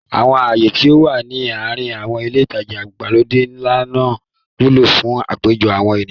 Àwọn ààyè tí ó wà ní àrin àwọn ilé ìtajà ìgbàlódé ńlá máa ń wúlò fún àpéjọ àwọn ènìyàn.